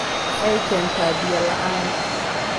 Waxay keentaa biyo la'aan.